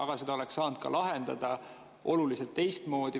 Aga selle oleks saanud lahendada teistmoodi.